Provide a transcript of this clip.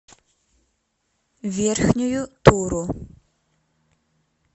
верхнюю туру